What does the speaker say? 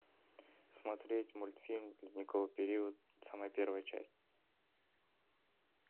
смотреть мультфильм ледниковый период самая первая часть